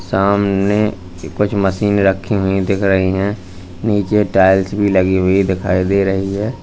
सामने कुछ मशीन रखी हुई दिख रही हैं नीचे टाइल्स भी लगी हुई दिखाई दे रही है।